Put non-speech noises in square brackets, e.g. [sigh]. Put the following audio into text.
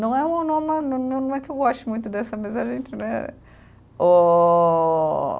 Não é uma, [unintelligible] não é que eu goste muito dessa, mas a gente, né? Óóóóó